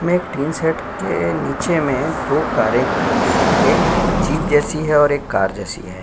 में एक tin shed के निचे में दो कारे खड़ी है एक जीप जैसे है और एक कार जैसे है।